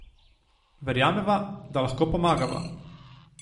Verjameva, da lahko pomagava.